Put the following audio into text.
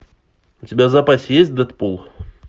у тебя в запасе есть дэдпул